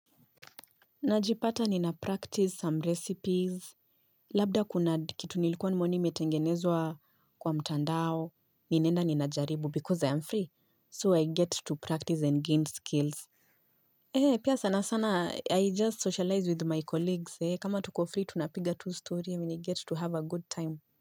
Najipata nina-practice some recipes, labda kuna kitu nilikuwa nimeoni metengenezwa kwa mtandao, ninenda ninajaribu because I am free, so I get to practice and gain skills. He, pia sana sana, I just socialize with my colleagues, he, kama tuko free, tunapiga two stories, and I get to have a good time.